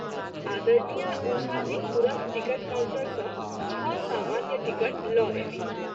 आ० उषा जी तुरत ticket counter सँ छ: सामान्य टिकट ल’ अयलीह।